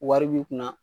Wari b'i kunna